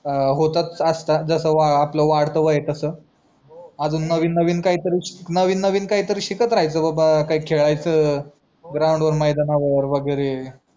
होतच असतात जस आपला वाढत वय हाय तस अजून नवीन काहीतरी शिकत राहायचा बाबा काय खेळायचा ग्राउंड वर मैदानावर वगैरे